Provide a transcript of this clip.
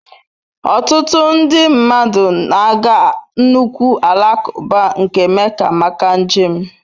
Ọtụtụ nde mmadụ na-aga nnukwu alakụba nke Mecca maka njem.